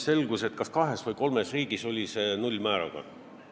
Selgus, et kas kahes või kolmes riigis oli selle määr null.